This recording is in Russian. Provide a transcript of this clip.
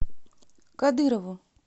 кадырову